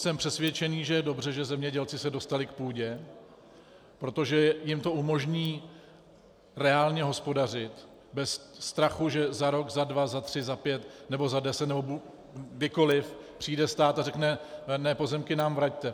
Jsem přesvědčený, že je dobře, že zemědělci se dostali k půdě, protože jim to umožní reálně hospodařit bez strachu, že za rok, za dva, za tři, za pět nebo za deset nebo kdykoliv přijde stát a řekne "ne, pozemky nám vraťte".